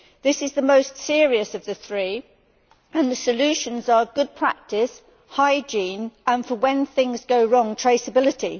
This is the most serious of the three and the solutions are good practice, hygiene, and, for when things go wrong, traceability.